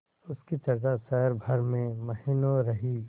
उसकी चर्चा शहर भर में महीनों रही